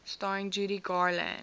starring judy garland